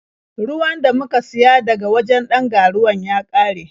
Ruwan da muka siya daga wajen ɗan ga-ruwan ya ƙare.